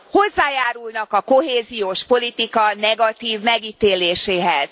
hozzájárulnak a kohéziós politika negatív megítéléséhez.